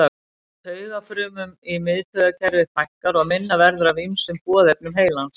Taugafrumum í miðtaugakerfi fækkar og minna verður af ýmsum boðefnum heilans.